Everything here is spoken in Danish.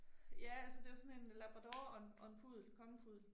Ja, altså det jo sådan en labrador og en og en puddel, kongepuddel